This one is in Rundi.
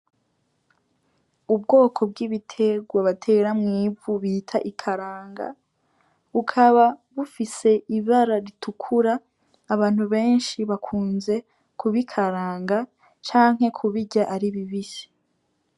Ubwoko bw'ibitegwa batera mw'ivu bita ikaranga bukaba bufise ibara ritukura, abantu benshi bakunze kubikaranga canke kubirya ari bibisi.